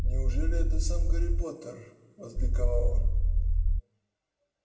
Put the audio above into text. неужели это сам гарри поттер возликовал он